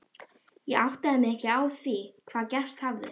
Ég áttaði mig ekki á því hvað gerst hafði.